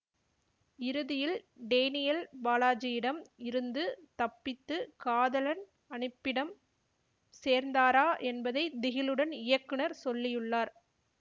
இறுதியில் டேனியல் பாலாஜியிடம் இருந்து தப்பித்து காதலன் அனுப்பிடம் சேர்ந்தாரா என்பதை திகிலுடன் இயக்குநர் சொல்லியுள்ளார்